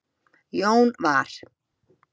Jón var